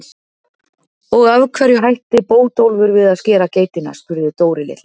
Og af hverju hætti Bótólfur við að skera geitina? spurði Dóri litli.